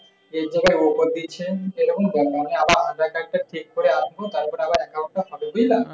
এই যায়গায় offer দিচ্ছে আমি আবার আধার-কার্ডটা ঠিক করে আসবো তারপরে আবার account টা হবে বুঝলা?